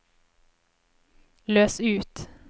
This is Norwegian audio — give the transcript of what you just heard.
løs ut